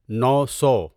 نو سو